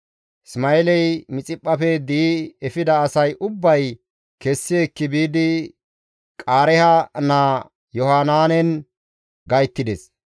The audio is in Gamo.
Isma7eeley Mixiphphafe di7i efida asay ubbay kessi ekki biidi Qaareeha naa Yohanaanen gayttides.